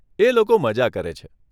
એ લોકો મઝા કરે છે.